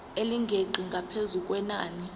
elingeqi ngaphezu kwenani